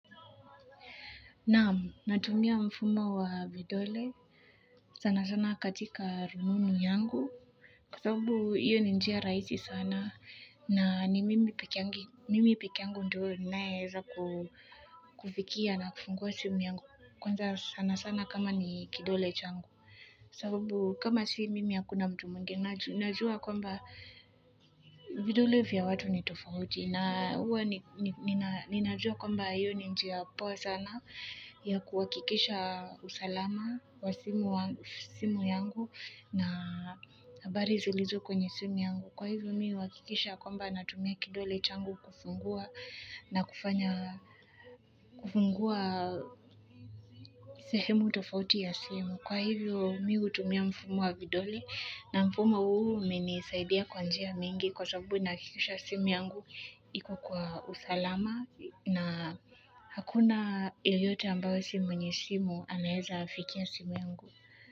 Naam, natumia mfumo wa vidole sana sana katika rununu yangu kwa sababu hiyo ni njia rahisi sana na ni mimi pekeangu ndo naeza kufikia na kufungua simu yangu kwanza sana sana kama ni kidole changu. Sababu kama si mimi hakuna mtu mwingine, najua kwamba vidole vya watu ni tofauti. Na huwa ninajua kwamba hiyo ni njia poa sana ya kuhakikisha usalama wa simu yangu na habari zilizo kwenye simu yangu kwa hivyo mi huhakikisha kwamba natumia kidole changu kufungua na kufungua sehemu tofauti ya simu. Kwa hivyo mi hutumia mfumo wa vidole na mfumo huu umenisaidia kwa njia mingi kwa sababu nahakikisha simu yangu iko kwa usalama na hakuna yeyote ambaye si mwenye simu anaeza fikia simu yangu.